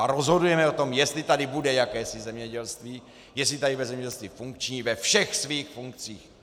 A rozhodujeme o tom, jestli tady bude jakési zemědělství, jestli tady bude zemědělství funkční ve všech svých funkcích.